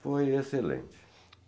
Foi excelente.